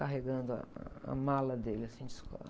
Carregando a, a mala dele, assim, de escola.